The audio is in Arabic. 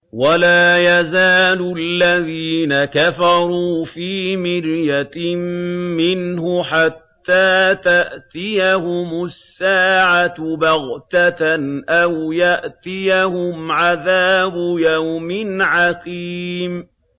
وَلَا يَزَالُ الَّذِينَ كَفَرُوا فِي مِرْيَةٍ مِّنْهُ حَتَّىٰ تَأْتِيَهُمُ السَّاعَةُ بَغْتَةً أَوْ يَأْتِيَهُمْ عَذَابُ يَوْمٍ عَقِيمٍ